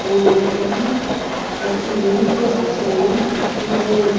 ena itaghi aqhülo khilunikeu aa shiani ighono juk--